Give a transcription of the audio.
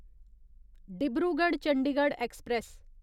Dibrugarh Chandigarh express